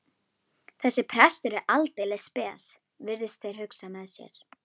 Þessi prestur er aldeilis spes, virðast þeir hugsa með sér.